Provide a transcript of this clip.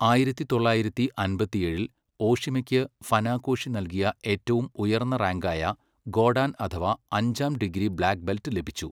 ആയിരത്തി തൊള്ളായിരത്തി അമ്പത്തിയേഴിൽ ഓഷിമയ്ക്ക് ഫനാകോഷി നൽകിയ ഏറ്റവും ഉയർന്ന റാങ്ക് ആയ ഗോഡാൻ അഥവാ അഞ്ചാം ഡിഗ്രി ബ്ലാക്ക് ബെൽറ്റ് ലഭിച്ചു.